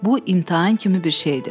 Bu imtahan kimi bir şeydir.